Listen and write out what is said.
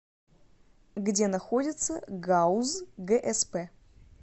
где находится гауз гсп